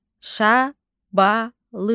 Şabalıd.